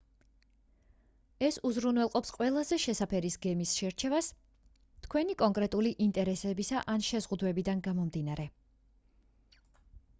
ეს უზრუნველყოფს ყველაზე შესაფერის გემის შერჩევას თქვენი კონკრეტული ინტერესებისა ან/და შეზღუდვებიდან გამომდინარე